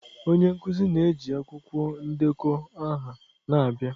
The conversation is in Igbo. Onye nkuzi na-eji akwụkwọ ndekọ aha na-abịa.